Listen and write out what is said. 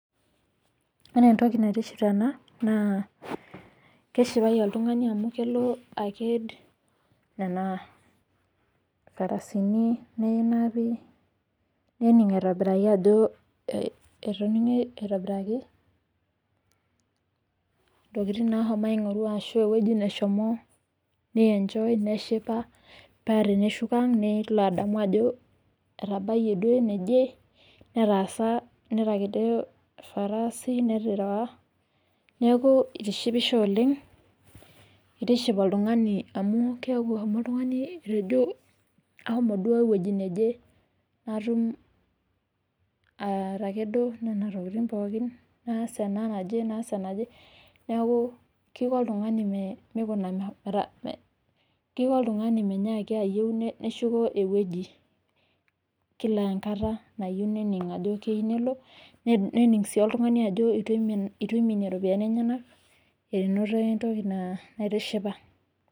Ore entoki naitiship tena naa keshipai oltungani amu kelo aked nena farasini nenapi, nening' aitobiraki ajo etoning'e aitobiraki ntokitin naashomo aing'oru ashu ewueji nashomo neenjoi neshipa pee teneshuko aang' nelo adamu ajo etabaiye duo eneje ,netaasa netakedo ilfarasi neaku eitishipisho oleng. Eitiship oltungani amu keaku eshomo oltungani ashomo duo eweji never natum atekedo nena tokitin pookin naas ana naj, naas ana naje naaaku keiko oltungani meikuna keiko oltungani meinyaaki ayeu neshuko eweji ekila enkata nayeu nening' ajo keyeu nelo ,nening' sii oltungani ajo eitu eiminie nena iropiyiani enyena, enoto entoki naitishipa.